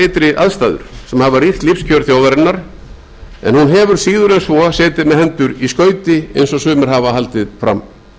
ytri aðstæður sem hafa rýrt lífskjör þjóðarinnar en hún hefur síður en svo setið með hendur í skauti eins og sumir hafa haldið fram